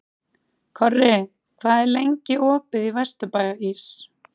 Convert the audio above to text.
Korri, hvað er lengi opið í Vesturbæjarís?